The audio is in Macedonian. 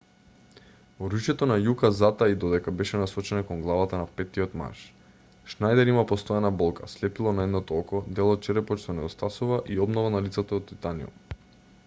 оружјето на јука затаи додека беше насочено кон главата на петтиот маж шнајдер има постојана болка слепило на едното око дел од черепот што недостасува и обнова на лицето од титаниум